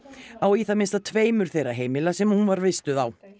á í það minnsta tveimur þeirra heimila sem hún var vistuð á